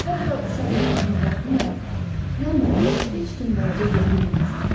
Hətta uşaq olmasına baxmayaraq, Yalmara belə heç kim balaca deyə bilməzdi.